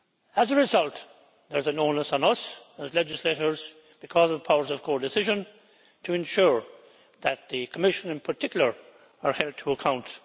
As a result, there is an onus on us, as legislators because of the powers of codecision, to ensure that the Commission, in particular, is held to account.